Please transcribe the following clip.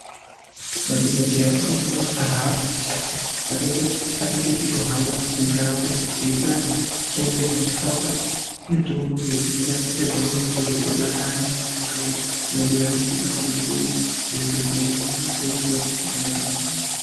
Madhokodheya anohamba munharaunda achiona vanthu vane hosha asi vasingadi kuenda kuchibhehleya vanobva vavapa mitombo varipamhatso pawo.